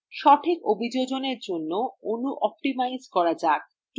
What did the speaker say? সঠিক অভিযোজনএর জন্য অণু optimize করা যাক